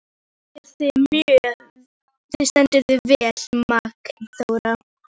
Þú stendur þig vel, Magnþóra!